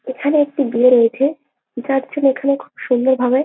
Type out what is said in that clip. এখানে একটি বিয়ে রয়েছে এক আট জন এখানে খুব সুন্দর ভাবে-এ--